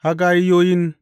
Haggayiyon.